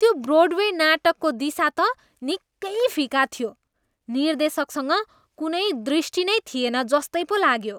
त्यो ब्रोडवे नाटकको दिशा त निकै फिका थियो। निर्देशकसँग कुनै दृष्टि नै थिएन जस्तै पो लाग्यो।